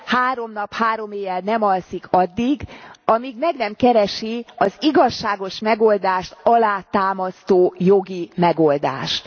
három nap, három éjjel nem alszik addig, amíg meg nem keresik az igazságos megoldást alátámasztó jogi megoldást.